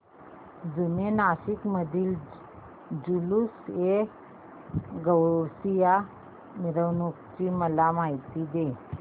जुने नाशिक मधील जुलूसएगौसिया च्या मिरवणूकीची मला माहिती दे